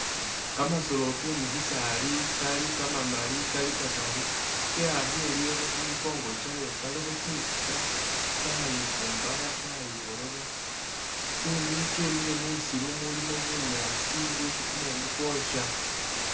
Kamasolo kemusisaali Kali kamamaali Kali kataru keyakhile lulooba khumukongo kyayo kalikho tsinzika tsayifumbara tsayiborora tsemi kyemile musiru mulimo bunyaasi bwesi kumumu kwoosha